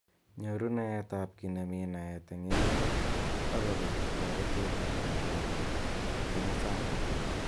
Nyoru naet ab ki nemi naet eng emet ak kobit toretet ako kandoik ab kimosatak.